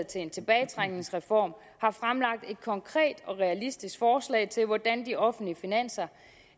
til en tilbagetrækningsreform har fremlagt et konkret og realistisk forslag til hvordan de offentlige finanser